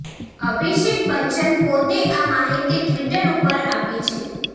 અભિષેક બચ્ચન ે પોતે આ માહિતી ટ્વિટર ઉપર આપી છે